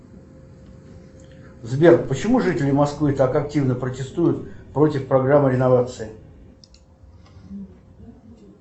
сбер почему жители москвы так активно протестуют против программы реновации